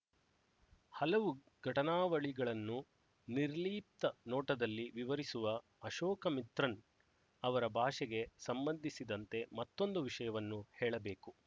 ಹಲವು ಘಟನಾವಳಿಗಳನ್ನು ನಿರ್ಲಿಪ್ತ ನೋಟದಲ್ಲಿ ವಿವರಿಸುವ ಅಶೋಕಮಿತ್ರನ್ ಅವರ ಭಾಷೆಗೆ ಸಂಬಂಧಿಸಿದಂತೆ ಮತ್ತೊಂದು ವಿಷಯವನ್ನು ಹೇಳಬೇಕು